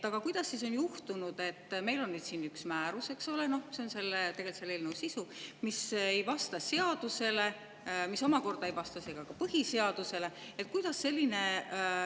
Aga kuidas on siis juhtunud, et meil on siin üks määrus – see on tegelikult selle eelnõu sisu –, mis ei vasta seadusele ja mis ei vasta ka põhiseadusele?